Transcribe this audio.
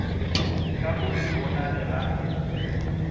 ka go se bonale ga